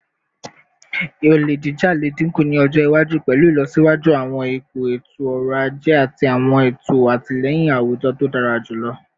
Ole jija le dinku ni ọjọ iwaju pẹlu ilọsiwaju awọn ipo eto-ọrọ aje ati awọn eto atilẹyin awujọ to dara julọ